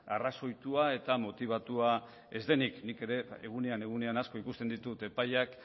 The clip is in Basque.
arrazoitua eta motibatua ez denik nik ere egunean egunean asko ikusten ditut epaiak